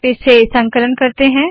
फिर से संकलन करते है